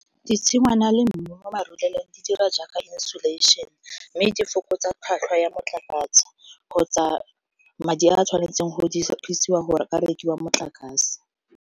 Ditshingwana le mmu di dira jaaka , mme di fokotsa tlhwatlhwa ya motlakase kgotsa madi a tshwanetseng go dirisiwa gore rekiwa motlakase.